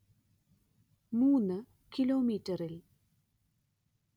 മൂന് കിലോമീറ്ററിൽ